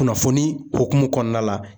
Kunnafoni hukumu kɔnɔna la